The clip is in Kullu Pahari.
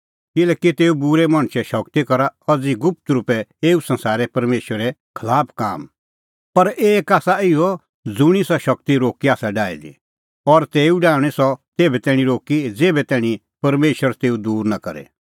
किल्हैकि तेऊ बूरै मणछे शगती करा अज़ी गुप्त रुपै एऊ संसारै परमेशरे खलाफ काम पर एक आसा इहअ ज़ुंणी सह शगती रोक्की आसा डाही दी और तेऊ डाहणीं सह तेभै तैणीं रोक्की ज़ेभै तैणीं परमेशर तेऊ दूर नां करे